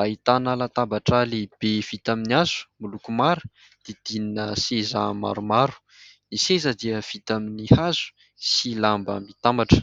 ahitana latabatra lehibe vita amin'ny hazo miloko mara didinina seza maromaro, ny seza dia vita amin'ny hazo sy lamba mitambatra.